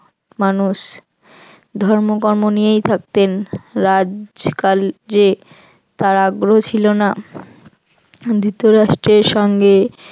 মানুষ ধর্ম কর্ম নিয়েই থাকতেন তার আগ্রহ ছিল না ধৃতরাষ্ট্রে সঙ্গে